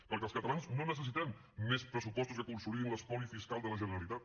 perquè els catalans no necessitem més pressupostos que consolidin l’espoli fiscal de la generalitat